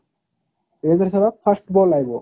ବିରେନ୍ଦ୍ର ସ୍ସଭାଗ first ball ଆଇବ